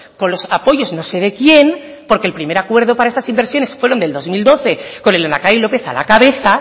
con los apoyos no sé de quién porque el primer acuerdo para estas inversiones fueron del dos mil doce con el lehendakari lópez a la cabeza